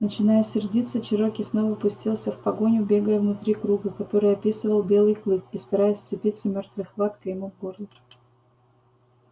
начиная сердиться чероки снова пустился в погоню бегая внутри круга который описывал белый клык и стараясь вцепиться мёртвой хваткой ему в горло